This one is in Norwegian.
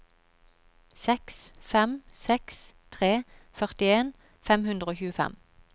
seks fem seks tre førtien fem hundre og tjuefem